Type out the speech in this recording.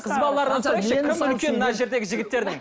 мына жердегі жігіттердің